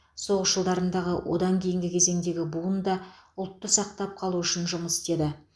соғыс жылдарындағы одан кейінгі кезеңдегі буын да ұлтты сақтап қалу үшін жұмыс істеді